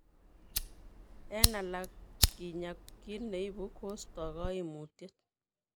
Eng' alak kinyaa kiit neibu kostoo kaimutiet